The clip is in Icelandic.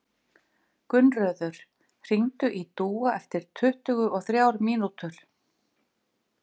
Gunnröður, hringdu í Dúa eftir tuttugu og þrjár mínútur.